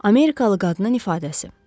Amerikalı qadının ifadəsi.